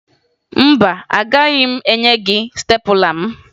Mba, agaghị m enye gị stepụla m